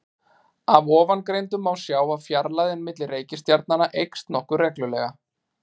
Af ofangreindu má sjá að fjarlægðin milli reikistjarnanna eykst nokkuð reglulega.